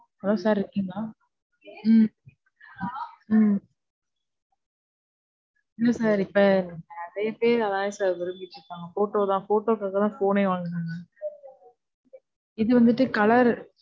Hello sir, இருக்கீங்களா? உம் உம் இல்ல sir. இப்ப நிறைய பேர் அதான் sir விரும்பி கேப்பாங்க. Photo, photo க்காக தான் phone னே வாங்குறாங்க. இது வந்துட்டு colour